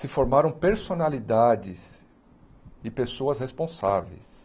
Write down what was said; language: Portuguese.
Se formaram personalidades e pessoas responsáveis.